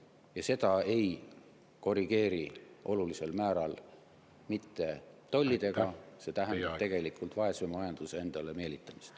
Ja seda ei korrigeeri olulisel määral mitte tollidega, see tähendab tegelikult vaese majanduse endale meelitamist.